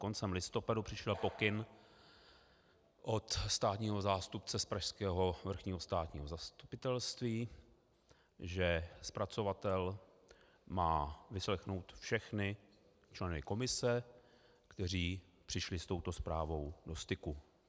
Koncem listopadu přišel pokyn od státního zástupce z pražského Vrchního státního zastupitelství, že zpracovatel má vyslechnout všechny členy komise, kteří přišli s touto zprávou do styku.